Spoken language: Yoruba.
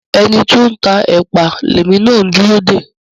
Ẹni tó ń tá èpà lèmi na ń dúró dè.